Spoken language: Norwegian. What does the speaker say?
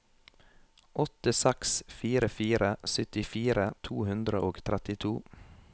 åtte seks fire fire syttifire to hundre og trettito